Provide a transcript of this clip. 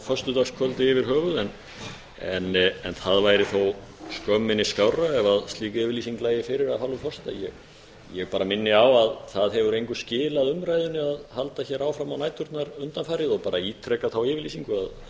föstudagskvöldi yfir höfuð en það væri þó skömminni skárra ef slík yfirlýsing lægi fyrir af hálfu forseta ég minni á að það hefur engu skilað umræðunni að halda hér áfram á næturnar undanfarið og ég ítreka þá yfirlýsingu að